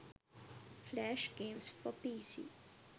flash games for pc